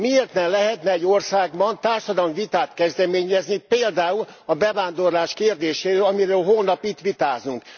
Miért ne lehetne egy országban társadalmi vitát kezdeményezni például a bevándorlás kérdéséről, amiről holnap itt vitázunk?